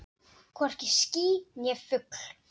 Hvorki ský né fugl.